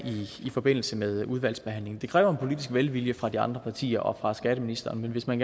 i forbindelse med udvalgsbehandlingen det kræver en politisk velvilje fra de andre partier og fra skatteministeren men hvis man